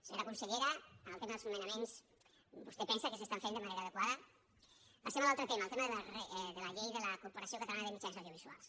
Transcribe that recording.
senyora consellera en el tema dels nomenaments vostè pensa que s’estan fent de manera adequada passem a l’altre tema al tema de la llei de la corporació catalana de mitjans audiovisuals